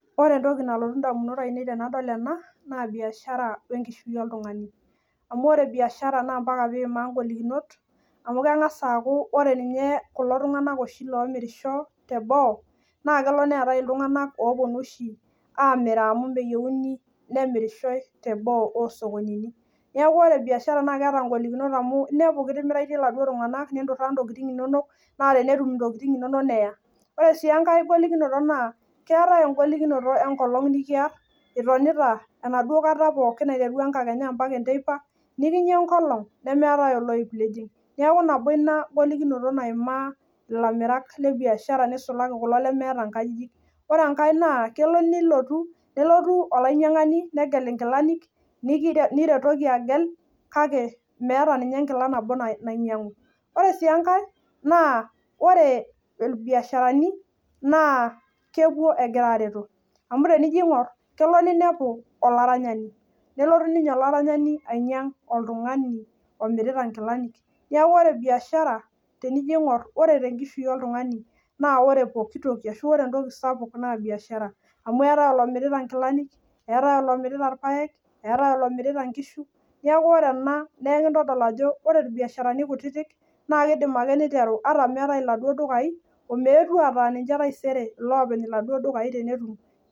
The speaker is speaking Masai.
Ore entoki nalotu indamunot ainei tenadol ena biashara wenkishui oltung'ani amu ore biashara naa ompaka niimaa ingolikinot amu keng'as aaku ore ninye kulo tung'anak oshi loomirisho tenoo naa kelo neetae iltung'anak oopwonu oshi amiraa oshi amu meyieuni nemirisho teboo oo sokonini. Neeku ore biashara naa keeta ngolikinot amu inepu kitimiraitie iladuo tung'anak ninturaa intokiting inonok, naa tenetum intokiting inonok neya. Ore sii enkae golikinoto naa keetae engolikinoto enkolong' nikiarr itonita enaduo kata pookin aiteru enkakenya ompaka enteipa, nikinya enkolong' nemeetae ewuei nijing'. Neeku nabo ina golikinoto naimaa ilamirak le biashara nisulaki kulo lemeeta nkajijik. Ore enkae naa kelo nilotu nelotu olainyang'ani negel inkilani niretoki agel kake meeta ninye enkila nabo nainyang'u. Ore sii enkae naa ore irbiasharani naa kepwo egira aareto amu tenijo aing'urr kelo ninepu olaranyani, nelotu ninye olaranyani ainyang' oltung'ani oinyang'ita nkilani. Neeku ore biashara tenijo aing'urr ore tenkishui oltung'ani naa ore pooki toki ashu ore entoki sapuk naa biashara amu eetae olomirita nkilani, eetae olomirita irpaek, eetae olomirita nkishu. Neeku ore ena kintodol ajo ore irbiasharani kutiti naa kiidim ake niteru ata meetae iladuo dukai omeetu ataa ninche taisere iloopeny iladuo dukai tenetum